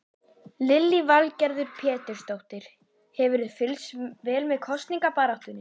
Lillý Valgerður Pétursdóttir: Hefurðu fylgst vel með kosningabaráttunni?